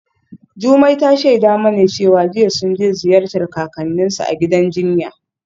Jumai ta shaida mana cewa jiya sun je ziyartar kakanninsu a gidan jinya.